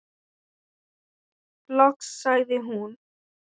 Loks sagði hún: